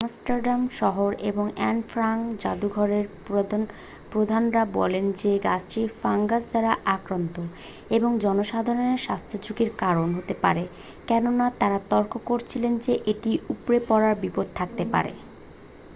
Amsterdam শহর এবং Anne Frank যাদুঘরের প্রধানরা বলেন যে গাছটি ফাঙ্গাস দ্বারা আক্রান্ত এবং জনসাধারণের স্বাস্থ্যঝুকির কারণ হতে পারে কেননা তারা তর্ক করেছিল যে এটি উপড়ে পড়ার বিপদ থাকতে পারে